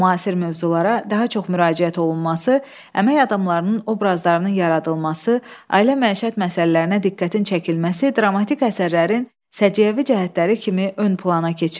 Müasir mövzulara daha çox müraciət olunması, əmək adamlarının obrazlarının yaradılması, ailə-məişət məsələlərinə diqqətin çəkilməsi dramatik əsərlərin səciyyəvi cəhətləri kimi ön plana keçirdi.